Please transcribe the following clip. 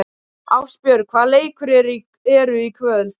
Ástbjörg, hvaða leikir eru í kvöld?